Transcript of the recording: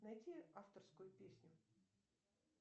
найти авторскую песню